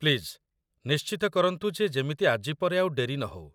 Please, ନିଶ୍ଚିତ କରନ୍ତୁ ଯେ ଯେମିତି ଆଜି ପରେ ଆଉ ଡେରି ନହଉ ।